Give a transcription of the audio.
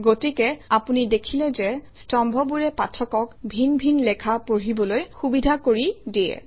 গতিকে আপুনি দেখিলে যে স্তম্ভবোৰে পাঠকক ভিন ভিন লেখা পঢ়িবলৈ সুবিধা কৰি দিয়ে